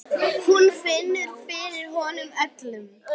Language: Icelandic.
Hún finnur fyrir honum öllum.